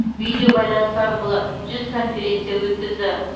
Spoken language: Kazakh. видеобайланыс арқылы жүз конференция өткізді